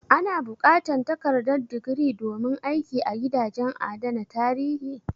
A na buƙatar takardar digiri domin aiki a gidajen adana tarihi?